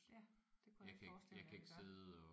Ja det kunne jeg godt forestille mig man gør